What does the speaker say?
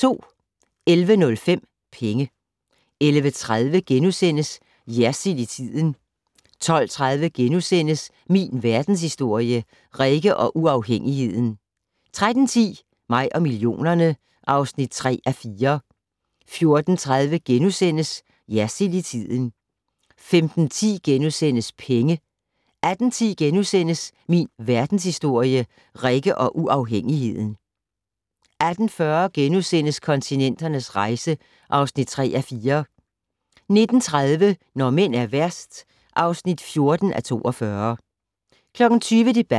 11:05: Penge 11:30: Jersild i tiden * 12:30: Min Verdenshistorie - Rikke og uafhængigheden * 13:10: Mig og millionerne (3:4) 14:30: Jersild i tiden * 15:10: Penge * 18:10: Min Verdenshistorie - Rikke og uafhængigheden * 18:40: Kontinenternes rejse (3:4)* 19:30: Når mænd er værst (14:42) 20:00: Debatten